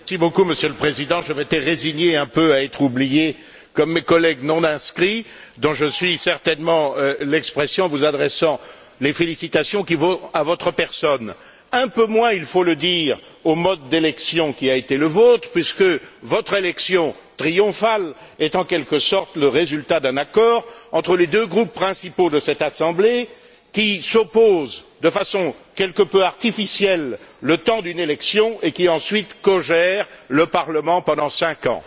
Monsieur le Président, je m'étais résigné à être un peu oublié, comme mes collègues non inscrits, dont je suis certainement l'expression en vous adressant les félicitations qui vont à votre personne, mais un peu moins, il faut le dire, au mode d'élection qui a été le vôtre puisque votre élection triomphale est en quelque sorte le résultat d'un accord entre les deux groupes principaux de cette Assemblée qui s'opposent de façon quelque peu artificielle le temps d'une élection et qui, ensuite, cogèrent le Parlement pendant cinq ans.